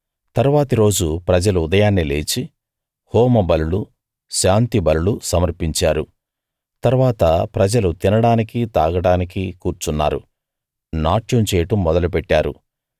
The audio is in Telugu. తరువాతి రోజు ప్రజలు ఉదయాన్నే లేచి హోమబలులు శాంతిబలులు సమర్పించారు తరువాత ప్రజలు తినడానికి తాగడానికి కూర్చున్నారు నాట్యం చేయడం మొదలు పెట్టారు